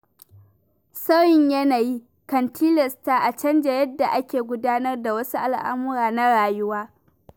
Sauyin yanayi kan tilasta a canja yadda ake gudanar da wasu al'amura na rayuwa.